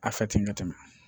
A fɛ ten ka tɛmɛ